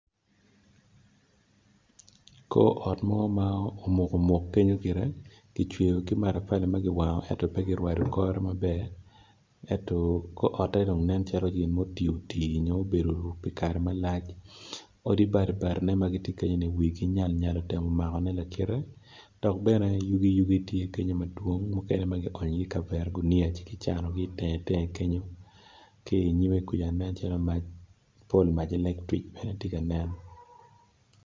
Kor ot mo ma omukomuk kenyo gire gicweyo kimatapali magiwango ento pegirwado kore maber ento kor otte dong nen calo gin mo otioti nyo obedo pi kare malac odi batibati ne magitye kenyo ni wigi nyal nyal otemo makone lakite dok bene yugi yugi tye kenyo madwong mukene magi onyo i ye kavera guniya ci ki cano gi itenge tenge kenyo ki inyime kuca nen calo mac pol mac electrik bene tye ka nen.